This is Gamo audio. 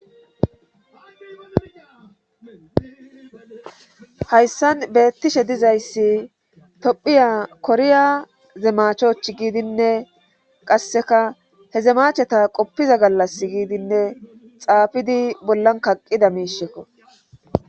hayssan beettishe dizayssi tophiya koriya zemachoch giidinne qasseka he zemacheta qoppiza gallas giidinne xaafidi bollan kaqqida miishekko